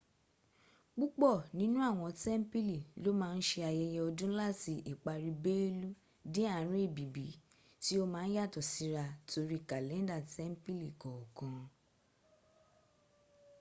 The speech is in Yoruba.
púpọ̀ nínú àwọn tempili lo ma n ṣe ayẹyẹ ọdún lati ìparí belú dé àrín èbìbí tí ó ma n yàtọ̀ síra torí kalenda tempili kookan